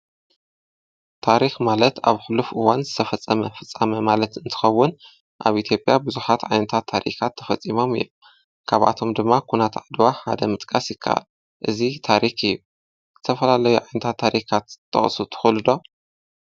ታሪክ ማለት ኣብ ሕሉፍ እዋን ዝተፈፀመ ፍፀማ ማለት እንትኸውን ኣብ ኢትዮጵያ ቡዙሓት ዓይነታት ታሪካት ተፈፂሞም እዮም። ከብኣቶም ድማ ኩናት ዓድዋ ሓደ ምጥቃስ ይካኣል። እዚ ታሪክ እዩ። ዝተፈላለዩ ዓይነታት ታሪካት ክጠቅሱ ትክእል ዶ?